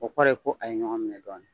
O kɔrɔ ye ko a ye ɲɔgɔn minɛ dɔɔnin.